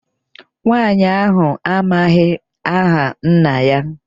Nwaanyị ahụ amaghị aha nna ya.